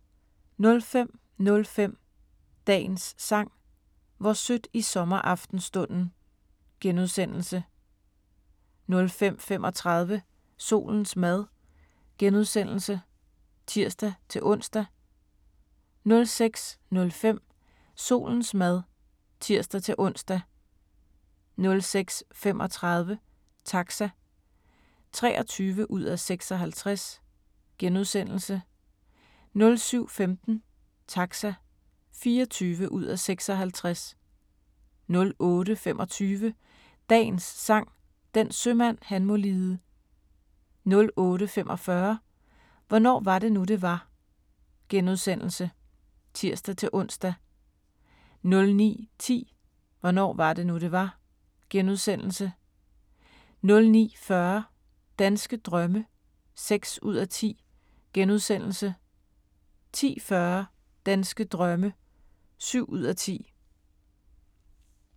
05:05: Dagens Sang: Hvor sødt i sommeraftenstunden * 05:35: Solens mad *(tir-ons) 06:05: Solens mad (tir-ons) 06:35: Taxa (23:56)* 07:15: Taxa (24:56) 08:25: Dagens Sang: Den sømand han må lide 08:45: Hvornår var det nu, det var? *(tir-ons) 09:10: Hvornår var det nu, det var? * 09:40: Danske drømme (6:10)* 10:40: Danske drømme (7:10)